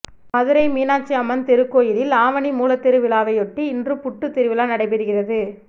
மதுரை மீனாட்சி அம்மன் திருக்கோயிலில் ஆவணிமூலத்திருவிழாவையொட்டி இன்று புட்டுத் திருவிழா நடைபெறுகிறது